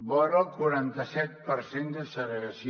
vora el quaranta set per cent de segregació